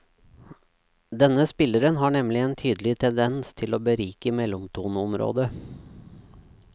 Denne spilleren har nemlig en tydelig tendens til å berike mellomtoneområdet.